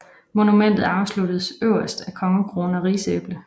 Monumentet afsluttes øverst af kongekrone og rigsæble